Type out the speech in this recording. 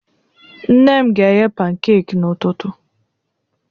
Nne m ga-eghe pankek n'ụtụtụ.